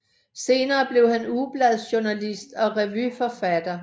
Senere blev han ugebladsjournalist og revyforfatter